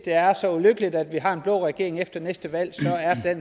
er så ulykkeligt at vi har en blå regering efter næste valg